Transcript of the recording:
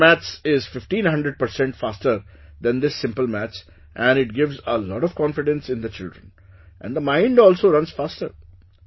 Vedic maths is fifteen hundred percent faster than this simple maths and it gives a lot of confidence in the children and the mind also runs faster